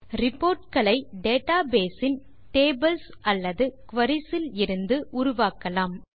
report களை database இன் tables அல்லது குரீஸ் இலிருந்து உருவாக்கலாம்